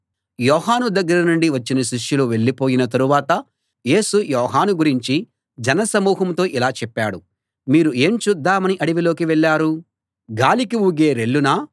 యోహాను దగ్గర నుండి వచ్చిన శిష్యులు వెళ్ళిపోయిన తరువాత యేసు యోహాను గురించి జన సమూహంతో ఇలా చెప్పాడు మీరు ఏం చూద్దామని అడవిలోకి వెళ్ళారు గాలికి ఊగే రెల్లునా